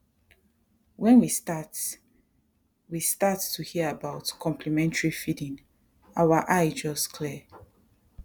when we start we start to hear about complementary feeding our eye just clear